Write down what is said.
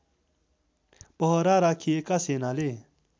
पहरा राखिएका सेनाले